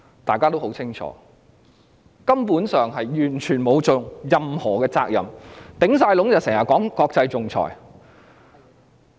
大家對此人十分清楚，她根本沒有履行任何責任，最多是整天說國際仲裁。